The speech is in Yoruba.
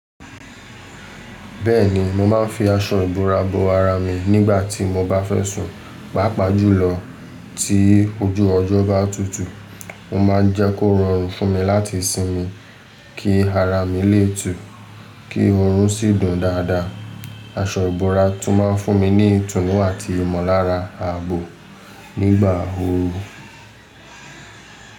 Bẹ́ẹ̀ni, mo máa ń fi aṣọ ìbora bo ara mi nígbà tí mo bá fẹ́ sùn. Pápá jùlọ tí ojú ọjọ́ bá tutù, mo máa ń jẹ́ kó rọrùn fún mi láti sinmi kí ara mi lè tùú, kí oorun sì dùn dáadáa. Aṣọ ìbora tún máa ń fún mi ní ìtùnú àti ìmọ̀lára ààbò nígbà ooru.